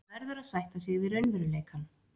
Maður verður að sætta sig við raunveruleikann.